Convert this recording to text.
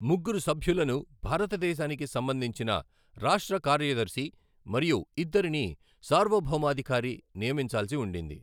ముగ్గురు సభ్యులను భారతదేశానికి సంబంధించిన రాష్ట్ర కార్యదర్శి మరియు ఇద్దరిని సార్వభౌమాధికారి నియమించాల్సి ఉండింది.